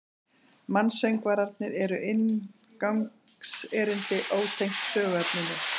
Mansöngvarnir eru inngangserindi, ótengd söguefninu.